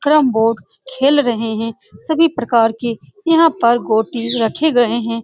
Carrom board खेल रहे हैं सभी प्रकार यहाँ पर गोटी यहाँ पर रखे गए हैं ।